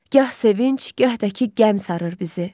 Gah sevinc, gah da ki, qəm sarır bizi.